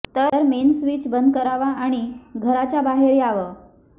तर main switch बंद करावा आणि घराच्या बाहेर यावं